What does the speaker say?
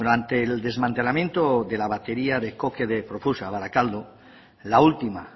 ante el desmantelamiento de la batería de coque de profusa barakaldo la última